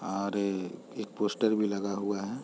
और ए एक पोस्टर भी लगा हुआ हैं ।